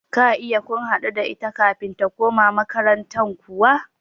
Ka iya kun haɗu da ita kafin ta koma makaranta kuwa?